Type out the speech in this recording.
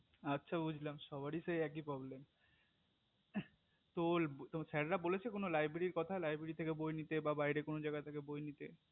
আচ্ছা বুঝলাম সবারই তো একই problem উহঃ তো sir রা বলেছে কোনো library র কথা বা library থেকে বই নিতে